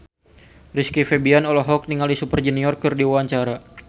Rizky Febian olohok ningali Super Junior keur diwawancara